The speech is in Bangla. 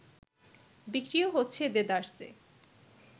বিক্রিও হচ্ছে দেদারসে